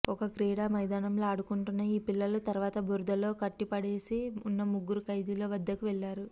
ఒక క్రీడామైదానంలో ఆడుకుంటున్న ఈ పిల్లలు తర్వాత బురదలో కటట్టిపాడేసి ఉన్నముగ్గురు ఖైదీల వద్దకు వెళ్లారు